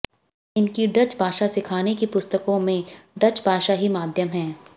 इनकी डच भाषा सिखाने की पुस्तकों में डच भाषा ही माध्यम है